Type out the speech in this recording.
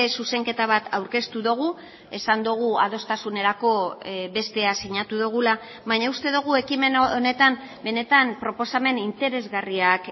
zuzenketa bat aurkeztu dugu esan dugu adostasunerako bestea sinatu dugula baina uste dugu ekimen honetan benetan proposamen interesgarriak